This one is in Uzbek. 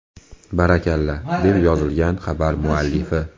Barakalla!”, deb yozgan xabar muallifi.